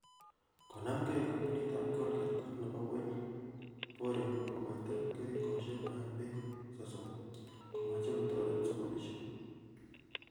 Konamgei kampunit ap colgate ak nepo WellBoring kokoito keringoshek ap pek sosom , komeche kotaret sugulishek.